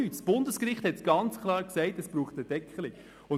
Das Bundesgericht hat ganz klar gesagt, dass es eine Deckelung braucht.